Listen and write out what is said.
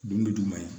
Dundo juman ye